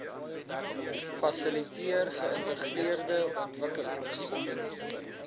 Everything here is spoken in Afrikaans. fasiliteer geïntegreerde ontwikkelings